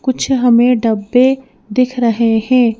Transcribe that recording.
कुछ हमें डब्बे दिख रहे हैं।